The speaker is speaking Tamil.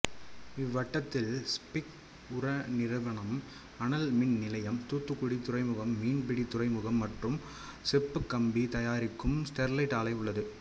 இவ்வட்டத்தில் ஸ்பிக் உரநிறுவனம் அனல் மின்நிலையம் தூத்துக்குடி துறைமுகம் மீன்பிடி துறைமுகம் மற்றும் செப்புக்கம்பி தாயாரிக்கும் ஸ்டெர்லைட் ஆலை உள்ளது